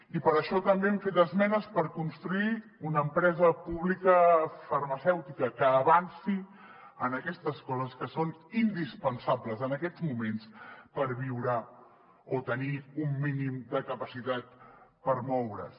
i per això també hem fet esmenes per construir una empresa pública farmacèutica que avanci en aquestes coses que són indispensables en aquests moments per viure o tenir un mínim de capacitat per moure’s